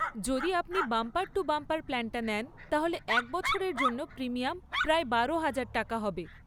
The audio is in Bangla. যদি আপনি বাম্পার টু বাম্পার প্ল্যানটা নেন তাহলে এক বছরের জন্য প্রিমিয়াম প্রায় বারো হাজার টাকা হবে।